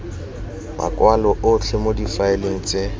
makwalo otlhe mo difaeleng tse